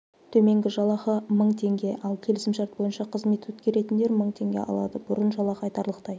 төменгі жалақы мың теңге ал келісімшарт бойынша қызмет өткеретіндер мың теңге алады бұрын жалақы айтарлықтай